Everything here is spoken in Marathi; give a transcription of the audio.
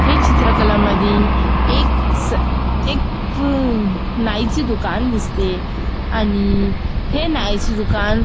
ही चित्र कला मधी एक स एक उम नाईचे दुकान दिसते आणि हे नाईचे दुकान --